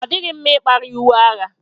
Ọ dịghị mma ikpari uwe agha